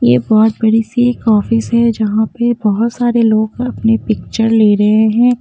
ये बहुत बड़ी सी एक ऑफिस है जहाँ पे बहुत सारे लोग अपने पिक्चर ले रहे हैं।